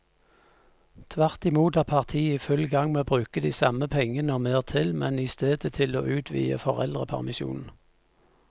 Tvert imot er partiet i full gang med å bruke de samme pengene og mer til, men i stedet til å utvide foreldrepermisjonen.